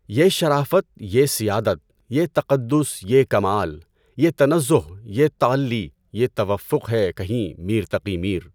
یہ شرافت یہ سیادت یہ تقدُّس یہ کمال یہ تنزُّہ یہ تعلّی یہ تفوُّق ہے کہیں میر تقی میرؔ